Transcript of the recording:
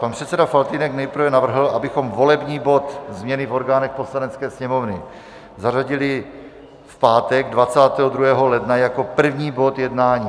Pan předseda Faltýnek nejprve navrhl, abychom volební bod změny v orgánech Poslanecké sněmovny zařadili v pátek 22. ledna jako první bod jednání.